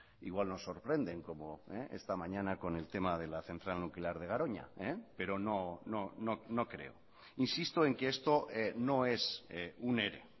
igual nos sorprenden como esta mañana con el tema de la central nuclear de garoña pero no creo insisto en que esto no es un ere